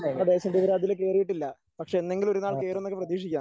നമ്മുടെ ദേശം ഇതുവരെ അതിൽ കയറിയിട്ടില്ല പക്ഷെ എന്നെങ്കിലും ഒരുനാൾ കേറുമെന്ന് പ്രതീക്ഷിക്കാം.